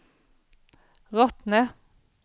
Rottne